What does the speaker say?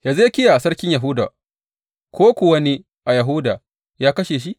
Hezekiya sarkin Yahuda ko kuwa wani a Yahuda ya kashe shi?